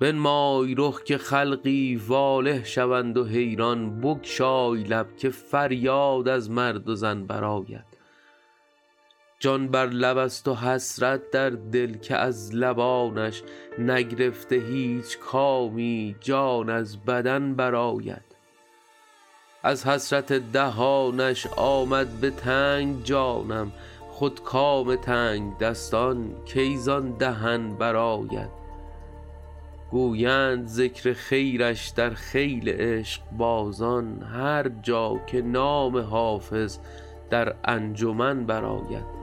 بنمای رخ که خلقی واله شوند و حیران بگشای لب که فریاد از مرد و زن برآید جان بر لب است و حسرت در دل که از لبانش نگرفته هیچ کامی جان از بدن برآید از حسرت دهانش آمد به تنگ جانم خود کام تنگدستان کی زان دهن برآید گویند ذکر خیرش در خیل عشقبازان هر جا که نام حافظ در انجمن برآید